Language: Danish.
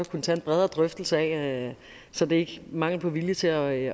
kunne tage en bredere drøftelse af så det er ikke mangel på vilje til at